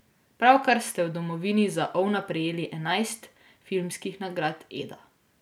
Pravkar ste v domovini za Ovna prejeli enajst filmskih nagrad edda.